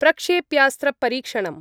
प्रक्षेप्यास्त्रपरीक्षणम्